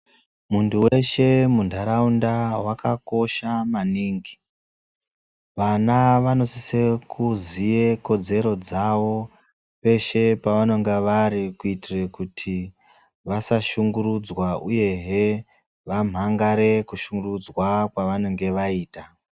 Muntu weshe muntaraunda wakakosha maningi, vana vanosise kuziye kodzero dzawo peshe pevanenge vari kuitire kuti vasashungurudzwa uyehe vamhangare kushungurudzwa kwevanenge vaita.